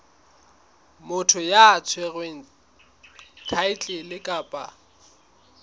motho ya tshwereng thaetlele kapa